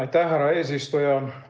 Aitäh, härra eesistuja!